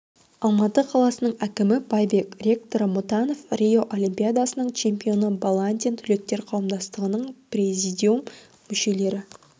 алматы қаласының әкімі байбек ректоры мұтанов рио олимпиадасының чемпионы баландин түлектер қауымдастығының президиум мүшелері